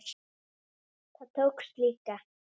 Það tókst líka.